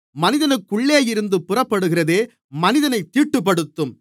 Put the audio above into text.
மனிதனுக்குள்ளேயிருந்து புறப்படுகிறதே மனிதனைத் தீட்டுப்படுத்தும்